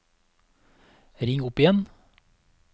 ring opp igjen